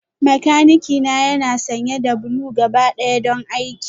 Makanikina yana sanye da blue gabaɗaya don aiki